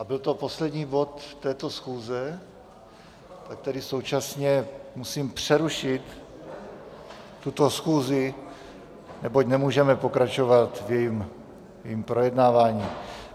A byl to poslední bod této schůze, tak tedy současně musím přerušit tuto schůzi, neboť nemůžeme pokračovat v jejím projednávání.